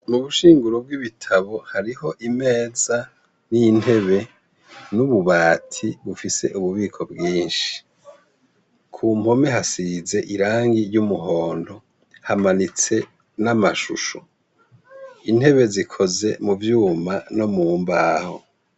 Mu rushinguro rw'ibitabo hariho imeza n'intebe n'ububati bufise ububiko bwinshi, ku mpome hasize irangi ry'umuhondo hamanitse n'amashusho, intebe zikoze mu vyuma no mu mbaho.